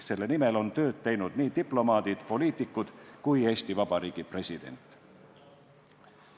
Selle nimel on tööd teinud nii diplomaadid, poliitikud kui ka Eesti Vabariigi president.